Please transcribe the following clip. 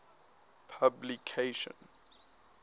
publication